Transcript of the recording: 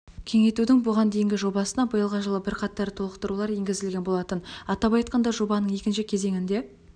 кеңейтудің бұған дейінгі жобасына биылғы жылы бірқатар толықтырулар енгізілген болатын атап айтқанда жобаның екінші кезеңінде